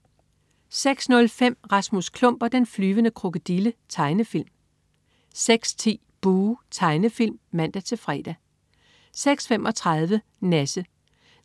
06.05 Rasmus Klump og den flyvende krokodille. Tegnefilm 06.10 Buh! Tegnefilm (man-fre) 06.35 Nasse.